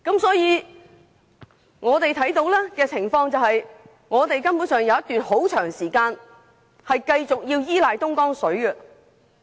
所以，以我們所見的情況，香港還有一段很長時間須繼續依賴東江水。